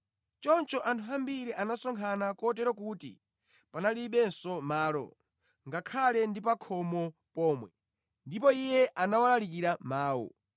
Choncho anthu ambiri anasonkhana kotero kuti panalibenso malo, ngakhale ndi pa khomo pomwe, ndipo Iye anawalalikira mawu.